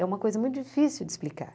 É uma coisa muito difícil de explicar.